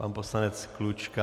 Pan poslanec Klučka.